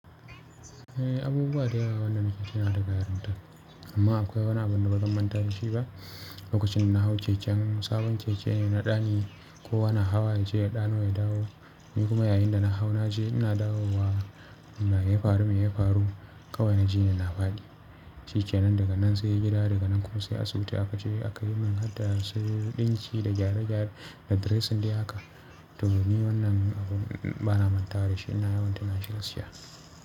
Eh, abubuwa da yawa wannan nake tuna daga yarinta amma akwai wani abu da bazan manta da shi ba. Lokacin da na hau keken sabon keke ne na ɗani ko wani hawa ya je ya ɗano ya dawo. Ni kuma yayinda na hau naje ina dawowa. Amma yayi faru me yayi faru kawai naji ina faɗi, shikenan daga nan sai gida daga nan kuma sai asibiti aka je aka yi min har da sai ɗinki da gyare-gyare da dressing dai haka. To ni wannan abun bana manta da shi ina yawan tuna shi da shi.